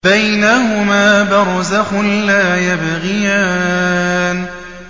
بَيْنَهُمَا بَرْزَخٌ لَّا يَبْغِيَانِ